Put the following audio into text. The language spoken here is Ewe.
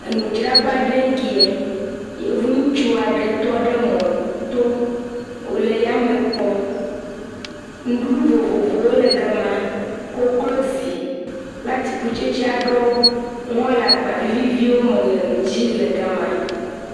Enudzraƒe aɖee kea. Yevu ŋutsu aɖe tɔ ɖe mɔ to. Wole yame kpɔm. Nuɖuɖu vovovowo le ga ma. Koklozi kple atikutsetse aɖewo hã le agba aɖe me le nu dzi le ga ma.